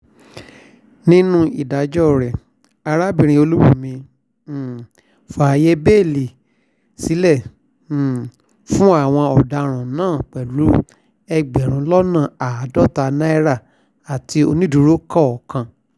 nínú ìdájọ́ rẹ̀ arábìnrin olùbùnmi um babilẹ̀ fààyè bẹ́ẹ́lí sílẹ̀ um fáwọn ọ̀daràn náà pẹ̀lú ẹgbẹ̀rún lọ́nà àádọ́ta náírà àti onídùúró kọ̀ọ̀kan